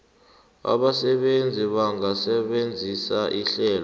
abasebenzi bangasebenzisa ihlelo